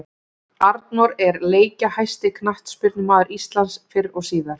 Arnór er leikjahæsti knattspyrnumaður Íslands fyrr og síðar.